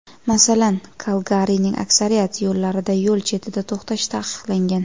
Masalan, Kalgarining aksariyat yo‘llarida yo‘l chetida to‘xtash taqiqlangan.